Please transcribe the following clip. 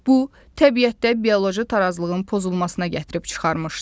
Bu, təbiətdə bioloji tarazlığın pozulmasına gətirib çıxarmışdır.